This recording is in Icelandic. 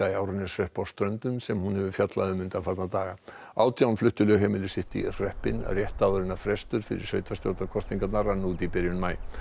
í Árneshrepp sem hún hefur fjallað um undanfarna daga átján fluttu lögheimili sitt í hreppinn rétt áður en frestur fyrir sveitarstjórnarkosningarnar rann út í byrjun maí